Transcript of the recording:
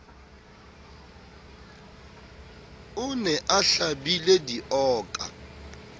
o ne a hlabile dioka